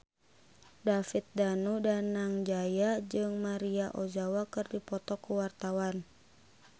David Danu Danangjaya jeung Maria Ozawa keur dipoto ku wartawan